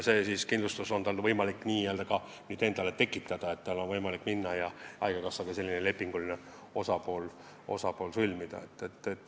See kindlustus on tal võimalik nüüd endale ka hankida, tal on võimalik minna ja haigekassaga selline leping sõlmida.